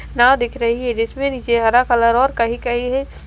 ना दिख रही है जिसमें नीचे हरा कलर और कहीं कहीं है।